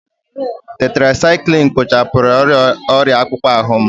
Tetirasaikilinu kpochapụrụ ọrịa akpụkpọ ahụ m.